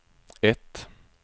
ett